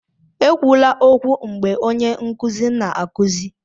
ekwula okwu mgbe onye nkuzi na-akụzi!